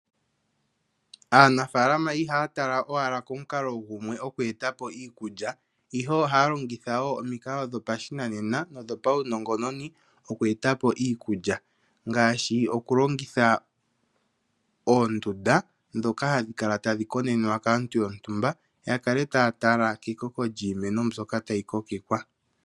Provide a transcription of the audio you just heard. Aanafaalama ihaya tala ashike komukalo gumwe oku eta po iikulya, ihe ohaya longitha omikalo dho pashinanena nondho paunongononi oku eta po iikulya ngaashi, oku longitha oondunda dhoka hadhi kala tadhi konenenwa kaantu yontumba ya tale emeno kt iimeno.